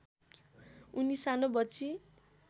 उनी सानो बच्ची